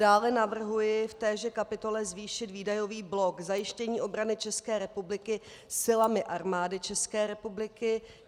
Dále navrhuji v téže kapitole zvýšit výdajový blok zajištění obrany České republiky silami Armády České republiky.